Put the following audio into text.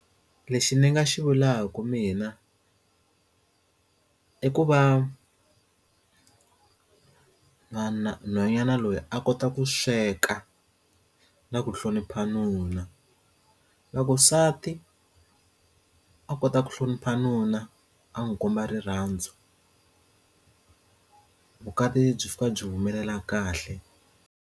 Lexi ndzi nga xi vulaka mina i ku va vanhwanyana loyi a kota ku sweka na ku hlonipha nuna Loko nsati a kota ku hlonipha nuna a n'wi komba rirhandzu kumbe vukati byi fika byi humelela kahle.